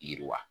Yiriwa